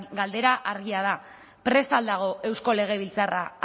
galdera argia da prest al dago eusko legebiltzarra